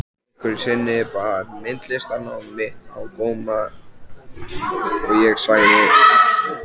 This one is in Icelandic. Einhverju sinni bar myndlistarnám mitt á góma og ég sagði